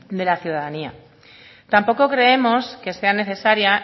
de la ciudadanía tampoco creemos que sea necesaria